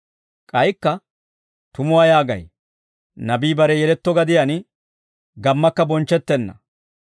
K'aykka, «Tumuwaa yaagay, nabii bare yeletto gadiyaan gammakka bonchchettenna.